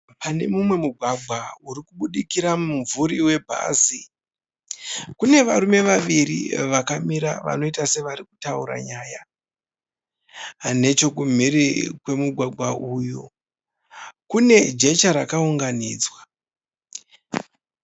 Pane mumwe mugwagwa urikudikira mumvuri webhasi. Kune varume vaviri vakamira vanoita sevarikutaura nyaya. Nechokunhiri kwemugwagwa uyu kune jecha rakaunganidzwa